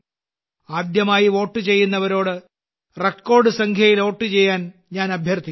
ആദ്യമായി വോട്ട് ചെയ്യുന്നവരോട് റെക്കോർഡ് സംഖ്യയിൽ വോട്ട് ചെയ്യാൻ ഞാൻ അഭ്യർത്ഥിക്കുന്നു